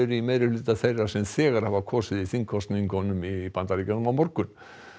í meirihluta þeirra sem þegar hafa kosið í þingkosningunum í Bandaríkjunum á morgun